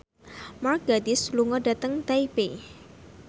Mark Gatiss lunga dhateng Taipei